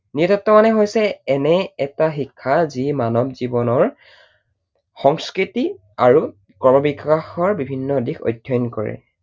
নৃতত্ব মানে হৈছে এনে এটা শিক্ষা যি মানৱ জীৱনৰ সংস্কৃতি আৰু ক্ৰমবিকাশৰ বিভিন্ন দিশ অধ্যয়ন কৰে।